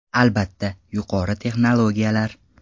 Albatta, yuqori texnologiyalar.